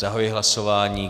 Zahajuji hlasování.